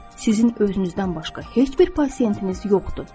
Sizin özünüzdən başqa heç bir pasientiniz yoxdur.